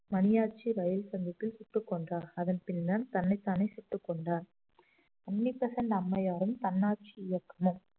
Maniyachi rail சந்திப்பில் சுட்டுக் கொன்றார் அதன் பின்னர் தன்னைத்தானே சுட்டிக் கொண்டார் அன்னி பெசன்ட் அம்மையாரும் தன்னாட்சி இயக்கமும்